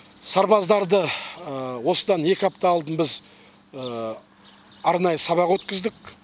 сарбаздарды осыдан екі апта алдын біз арнайы сабақ өткіздік